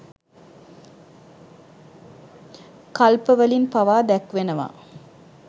කල්පවලින් පවා දැක්වෙනවා.